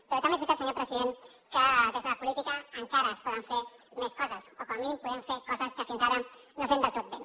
però també és veritat senyor president que des de la política encara es poden fer més coses o com a mínim podem fer coses que fins ara no fem del tot bé